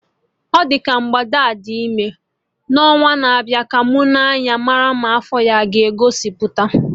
Ọ dị ka mgbada a dị ime, ọnwa na-abịa ka mụ Nee anya marụ ma afọ ya aga egosipụta